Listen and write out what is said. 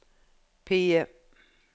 PIE